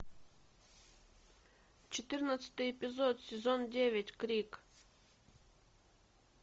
четырнадцатый эпизод сезон девять крик